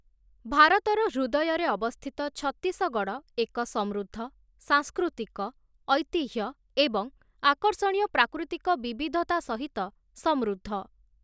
ଭାରତର ହୃଦୟରେ ଅବସ୍ଥିତ ଛତିଶଗଡ଼଼ ଏକ ସମୃଦ୍ଧ, ସାଂସ୍କୃତିକ, ଐତିହ୍ୟ ଏବଂ ଆକର୍ଷଣୀୟ ପ୍ରାକୃତିକ ବିବିଧତା ସହିତ ସମୃଦ୍ଧ ।